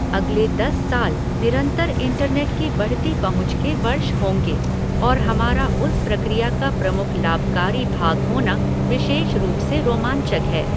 अगले दस साल निरंतर इंटरनेट की बढ़ती पहुँच के वर्ष होंगे, और हमारा उस प्रक्रिया का प्रमुख लाभकारी भाग होना विशेष रूप से रोमांचक है।